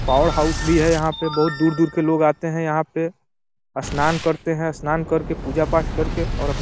Power house भी है। यहाँ पर बहोत दूर-दूर के लोग आते हैं यहाँ पे । स्नान करते हैं। स्नान करके पूजा पाठ करके और अपना --